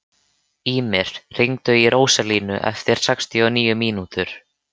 Ýmir, hringdu í Róselíu eftir sextíu og níu mínútur.